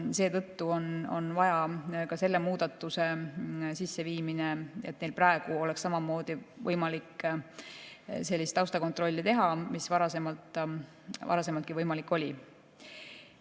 Seetõttu on vaja ka selle muudatuse sisseviimine, et neil praegu oleks samamoodi võimalik teha sellist taustakontrolli, mis varasemaltki võimalik oli.